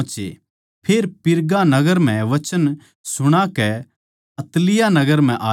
फेर पिरगा नगर म्ह वचन सुणाकै अत्तलिया नगर म्ह आये